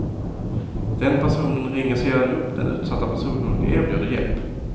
Den personen ringer sedan upp den utsatta personen och erbjuder hjälp.